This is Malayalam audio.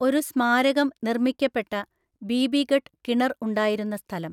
ഒരു സ്മാരകം നിർമ്മിക്കപ്പെട്ട ബീബിഗഢ് കിണർ ഉണ്ടായിരുന്ന സ്ഥലം.